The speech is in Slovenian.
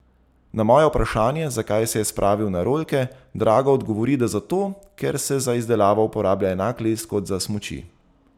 Na moje vprašanje, zakaj se je spravil na rolke, Drago odgovori, da zato, ker se za izdelavo uporablja enak les kot za smuči.